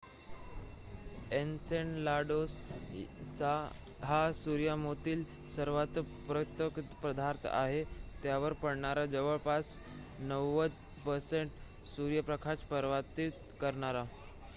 Enceladus हा सूर्यमालेतील सर्वात परावर्तक पदार्थ आहे त्यावर पडणारा जवळपास 90% सूर्यप्रकाश परावर्तित करणारा